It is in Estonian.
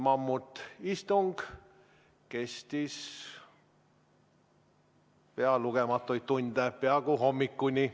Mammutistung kestis lugematuid tunde, peaaegu hommikuni.